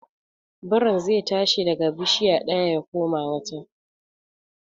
Birin zai tashi daga bishiya ɗaya ya koma wata.